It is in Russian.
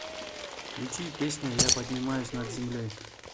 включи песня я поднимаюсь над землей